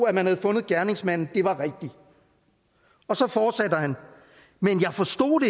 at man havde fundet gerningsmanden var rigtigt og så fortsætter han men jeg forstod